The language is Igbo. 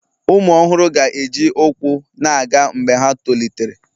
Ụmụ ọhụrụ ga-eji ụkwụ na-aga mgbe ha tolitere